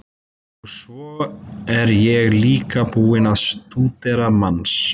Og svo er ég líka búinn að stúdera manns